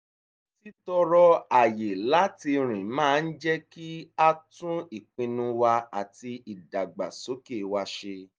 títọrọ àyè láti rìn máa ń jẹ́ kí á tún ìpinnu wa àti ìdàgbàsókè wa se